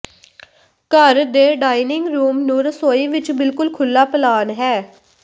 ਘਰ ਦੇ dining room ਨੂੰ ਰਸੋਈ ਵਿਚ ਬਿਲਕੁਲ ਖੁੱਲ੍ਹਾ ਪਲਾਨ ਹੈ